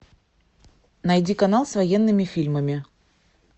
найди канал с военными фильмами